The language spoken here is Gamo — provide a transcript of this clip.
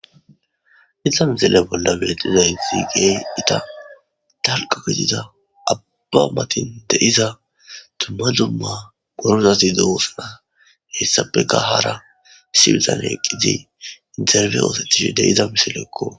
Inha misile bolla beexiza intigee ita talqo gedida abba matin deiza tumma dumma gorozasi doosuna hessapeka hara siwuzane eqqizi interbe oosetishi deiza misilekko.